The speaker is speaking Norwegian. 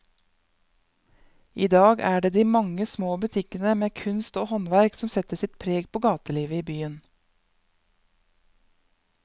I dag er det de mange små butikkene med kunst og håndverk som setter sitt preg på gatelivet i byen.